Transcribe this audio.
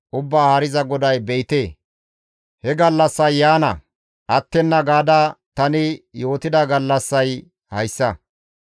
Ubbaa Haariza GODAY be7ite, he gallassay yaana attenna gaada tani yootida gallassay hayssa.